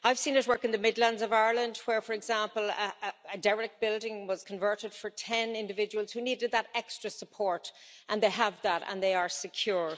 I've seen it work in the Midlands of Ireland where, for example, a derelict building was converted for 10 individuals who needed that extra support, and they have that and they are secure.